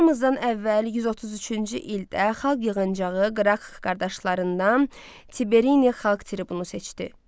Eramızdan əvvəl 133-cü ildə xalq yığıncağı qraqq qardaşlarından Tiberini xalq tribunu seçdi.